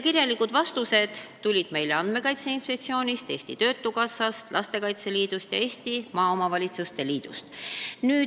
Kirjalikud vastused tulid meile Andmekaitse Inspektsioonist, Eesti Töötukassast, Lastekaitse Liidust ja Eesti Maaomavalitsuste Liidust.